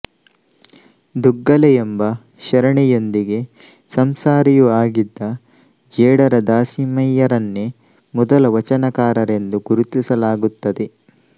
ದುಗ್ಗಲೆಯೆಂಬ ಶರಣೆಯೊಂದಿಗೆ ಸಂಸಾರಿಯೂ ಆಗಿದ್ದ ಜೇಡರ ದಾಸಿಮಯ್ಯರನ್ನೇ ಮೊದಲ ವಚನಕಾರರೆಂದು ಗುರುತಿಸಲಾಗುತ್ತದೆ